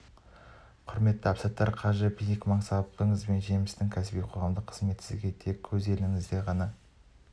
құрметті әбсаттар қажы биік мансабыңыз бен жемісті кәсіби және қоғамдық қызметіңіз сізге тек өз еліңізде ғана